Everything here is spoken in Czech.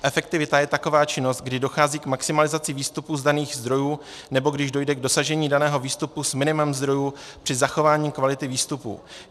Efektivita je taková činnost, kdy dochází k maximalizaci výstupů z daných zdrojů, nebo když dojde k dosažení daného výstupu s minimem zdrojů při zachování kvality výstupů.